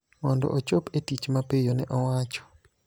mondo ochop e tich mapiyo, ne owacho.